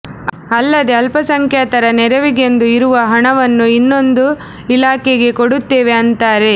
ಅಲ್ಲದೆ ಅಲ್ಪಸಂಖ್ಯಾತರ ನೆರವಿಗೆಂದು ಇರುವ ಹಣವನ್ನು ಇನ್ನೊಂದು ಇಲಾಖೆಗೆ ಕೊಡುತ್ತೇವೆ ಅಂತಾರೆ